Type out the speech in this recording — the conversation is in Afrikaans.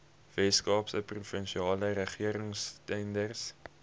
weskaapse provinsiale regeringstenders